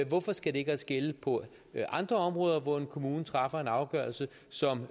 hvorfor skal det ikke også gælde på andre områder hvor en kommune træffer en afgørelse som